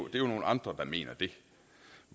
det er nogle andre der mener det